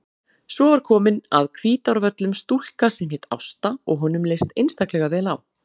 Svo var komin að Hvítárvöllum stúlka sem hét Ásta og honum leist einstaklega vel á.